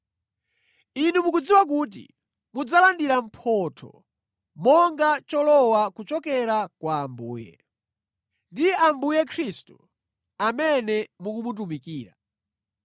Inu mukudziwa kuti mudzalandira mphotho monga cholowa kuchokera kwa Ambuye. Ndi Ambuye Khristu amene mukumutumikira.